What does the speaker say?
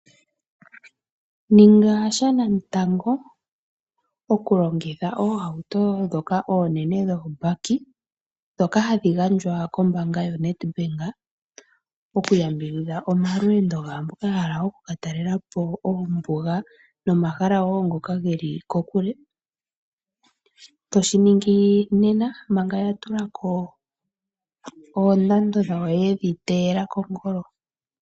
Ninga shanamutango okulongitha oohauto ndhoka oonene dho baki ndhoka hadhi gandjwa koombanga yo Netbank okuyambidhidha omalweendo gaamboka ya hala oku katalelapo oombuga nomahala woo ngoka geli kokule. Toshiningi nena manga yatulako oondando dhawo yedhi teyela kongolo.